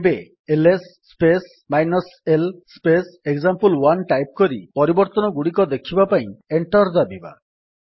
ଏବେ LS space example one type କରି ପରବର୍ତ୍ତନଗୁଡିକ ଦେଖିବା ପାଇଁ ଏଣ୍ଟର୍ ଦାବିବା